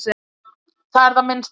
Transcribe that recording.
Það er það minnsta.